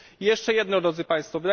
I jeszcze jedno, drodzy Państwo.